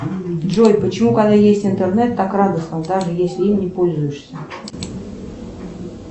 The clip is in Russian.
джой почему когда есть интернет так радостно даже если им не пользуешься